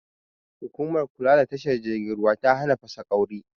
Hukumar kula da tashar jirgin ruwa ta hana fasaƙauri